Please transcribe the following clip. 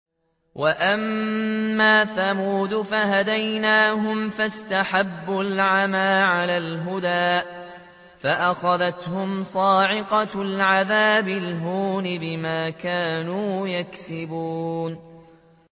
وَأَمَّا ثَمُودُ فَهَدَيْنَاهُمْ فَاسْتَحَبُّوا الْعَمَىٰ عَلَى الْهُدَىٰ فَأَخَذَتْهُمْ صَاعِقَةُ الْعَذَابِ الْهُونِ بِمَا كَانُوا يَكْسِبُونَ